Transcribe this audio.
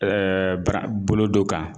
bara bolo do kan